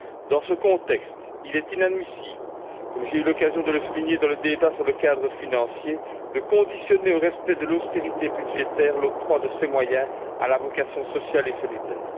Dans ce contexte, il est inadmissible, comme j'ai eu l'occasion de le souligner dans le débat sur le cadre financier, de conditionner au respect de l'austérité budgétaire l'octroi de ces moyens à la vocation sociale et solidaire.